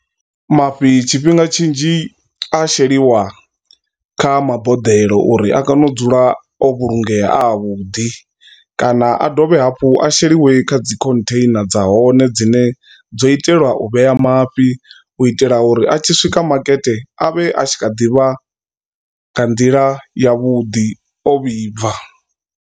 Mafhi tshifhinga tshinzhi a sheliwa kha maboḓelo uri a kone u dzula o vhulungeya a a vhuḓi kana a dovhe hafhu a sheliwe kha dzi khontheina dza hone dzine dzo itelwa u vhea mafhi u itela uri a tshi swika makete avhe a tshi kha ḓivha nga nḓila yavhuḓi o vhibva.